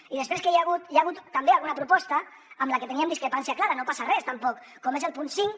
i després hi ha hagut també alguna proposta amb la que teníem discrepància clara no passa res tampoc com és el punt cinc